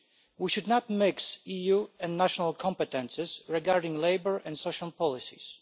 We should not mix EU and national competences regarding labour and social policies.